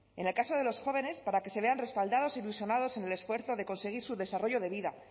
en el caso de los jóvenes para que se vean respaldados e ilusionados en el esfuerzo de conseguir su desarrollo de vida